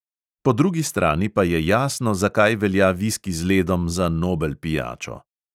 Po drugi strani pa je jasno, zakaj velja viski z ledom za nobel pijačo.